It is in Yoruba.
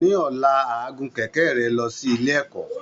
Ní ọ̀la, á gun kẹ̀kẹ́ rẹ̀ lọ sí ilé ẹ̀kọ́